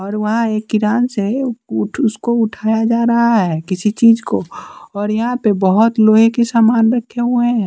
और वहाँ एक किरान से उ उठ उसको उठाया जा रहा है किसी चीज को और यहाँ पे बहुत लोहे के सामान रखे हुए हैं।